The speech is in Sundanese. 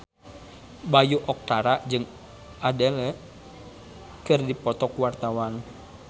Bayu Octara jeung Adele keur dipoto ku wartawan